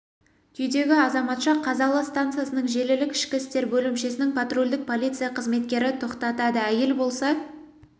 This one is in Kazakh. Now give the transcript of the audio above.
күйдегі азаматша р-ны қазалы стансасының желілік ішкі істер бөлімшесінің патрульдік полиция қызметкері тоқтатады әйел болса